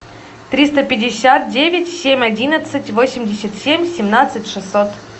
триста пятьдесят девять семь одиннадцать восемьдесят семь семнадцать шестьсот